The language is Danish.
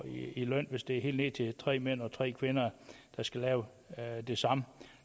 i løn hvis det er helt ned til tre mænd og tre kvinder der skal lave det samme